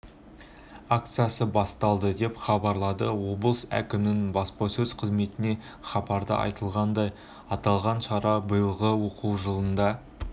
акциясы басталды деп хабарлады облыс әкімінің баспасөз қызметінен хабарда айтылғандай аталған шара биылғы оқу жылында